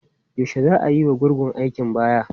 Yaushe za a yiwa gurgun aikin baya?